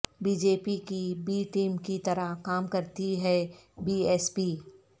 be J P کی B team کی طرح کام کر تی ہے بی ایس پی